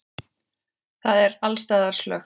Það er alls staðar slökkt.